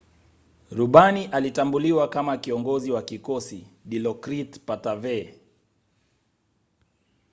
rubani alitambuliwa kama kiongozi wa kikosi dilokrit pattavee